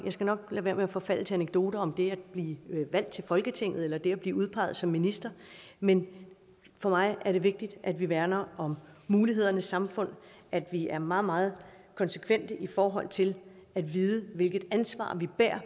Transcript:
skal nok lade være med at forfalde til anekdoter om det at blive valgt til folketinget eller det at blive udpeget som minister men for mig er det vigtigt at vi værner om mulighedernes samfund at vi er meget meget konsekvente i forhold til at vide hvilket ansvar vi hver